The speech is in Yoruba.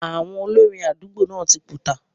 Àwọn olórin àdúgbò náà tí túká